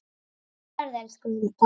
Góða ferð, elsku Hulda.